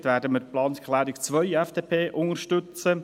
dort werden wir die Planungserklärung 2, FDP, unterstützen.